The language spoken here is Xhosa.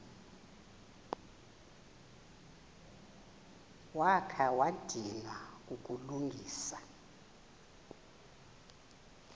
wakha wadinwa kukulungisa